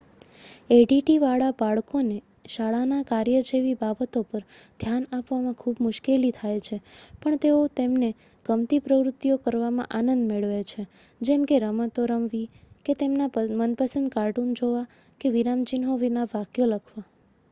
addવાળાં બાળકોને શાળાના કાર્ય જેવી બાબતો પર ધ્યાન આપવામાં ખૂબ મુશ્કેલી થાય છે પણ તેઓ તેમને ગમતી પ્રવૃત્તિઓ કરવામાં આનંદ મેળવે છે જેમ કે રમતો રમવી કે તેમના મનપસંદ કાર્ટૂન જોવાં કે વિરામચિહ્નો વિના વાક્યો લખવા